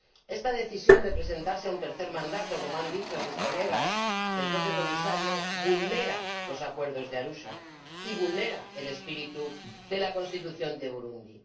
Esta decisión de presentarse a un tercer mandato ―como han dicho mis colegas y el propio Comisario― vulnera los Acuerdos de Arusha y vulnera el espíritu de la Constitución de Burundi